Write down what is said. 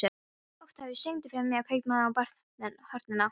Oktavíus, syngdu fyrir mig „Kaupmaðurinn á horninu“.